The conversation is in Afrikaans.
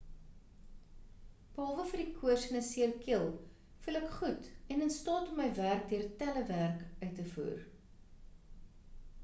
behalwe vir die koors en 'n seer keel voel ek goed en in staat om my werk deur telewerk uit te voer